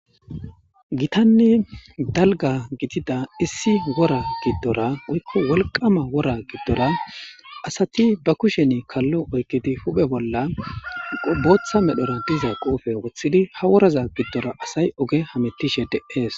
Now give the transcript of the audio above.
Gitanni dalga gidida issi wora giddora woykko wolqama wora giddora asati ba kushen kallo oykidi huphe bolla qobotha medhora diza quufe woththidi ha woraza giddora asay oge hamettishe de'ees.